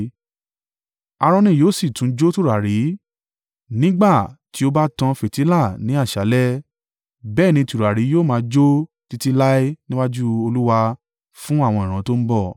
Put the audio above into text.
Aaroni yóò sì tún jó tùràrí nígbà tí ó bá tan fìtílà ní àṣálẹ́, bẹ́ẹ̀ ní tùràrí yóò máa jó títí láé níwájú Olúwa fún àwọn ìran tó ń bọ̀.